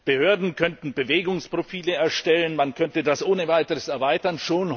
Behörden könnten Bewegungsprofile erstellen, man könnte das ohne weiteres erweitern.